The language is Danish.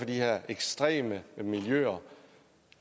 de her ekstreme miljøer